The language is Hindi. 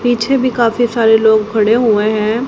पीछे भी काफी सारे लोग खड़े हुए हैं।